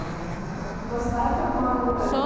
поставь обманутая